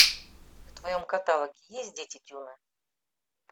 в твоем каталоге есть дети дюны